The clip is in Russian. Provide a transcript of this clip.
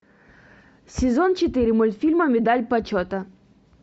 сезон четыре мультфильма медаль почета